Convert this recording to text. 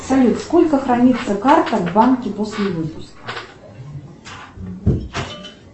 салют сколько хранится карта в банке после выпуска